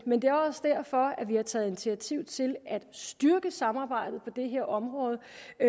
men det er også derfor vi har taget initiativ til at styrke samarbejdet på det her område